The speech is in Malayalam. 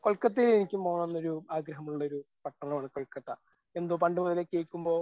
കൊൽക്കത്തയിൽ എനിക്കും പോണം എന്നൊരു ആഗ്രഹം ഉള്ളൊരു പട്ടണം ആണ് കൊൽക്കത്ത. എന്തോ പണ്ട് മുതലേ കേൾക്കുമ്പോൾ